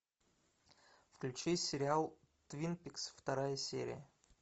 включи сериал твин пикс вторая серия